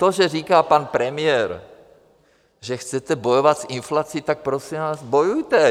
To, že říká pan premiér, že chcete bojovat s inflací, tak prosím vás, bojujte.